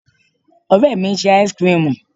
Ore mi ń ṣe áísíkrimù.